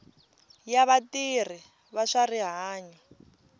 ya vatirhi va swa rihanyo